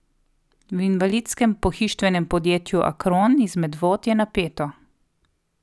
V invalidskem pohištvenem podjetju Akron iz Medvod je napeto.